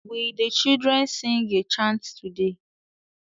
Will the children sing a chant today?